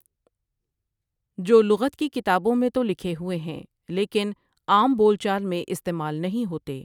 جو لغت کی کتابوں میں تو لکھے ہوئے ہیں لیکن عام بول چال میں استعمال نہیں ہوتے ۔